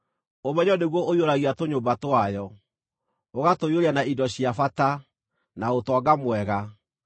ũmenyo nĩguo ũiyũragia tũnyũmba twayo, ũgatũiyũria na indo cia bata, na ũtonga mwega.